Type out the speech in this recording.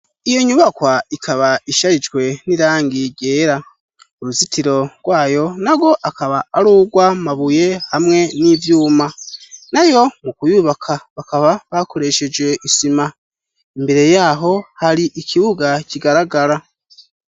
Iyo nyubakwa, ikaba isharijwe n'irangi ryera, uruzitiro rwayo narwo, akaba arugw'amabuye hamwe n'ivyuma, nayo mu kuyubaka, bakaba bakoresheje isima, imbere yaho hari ikibuga kigaragara.